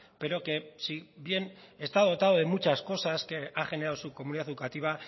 pero que si bien está dotado de muchas cosas que ha generado su comunidad educativa